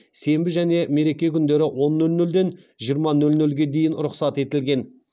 сенбі және мереке күндері он нөл нөлден жиырма нөл нөлге дейін рұқсат етілген